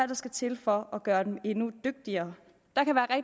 der skal til for at gøre dem endnu dygtigere